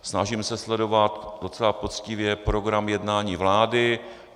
Snažím se sledovat docela poctivě program jednání vlády.